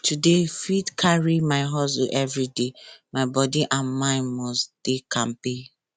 to dey fit carry my hustle everyday my body and mind must dey kampe